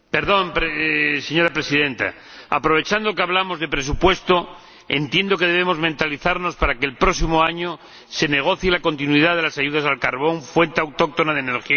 Señora Presidenta, aprovechando que hablamos de presupuesto, entiendo que debemos mentalizarnos para que el próximo año se negocie la continuidad de las ayudas al carbón, fuente autóctona de energía imprescindible.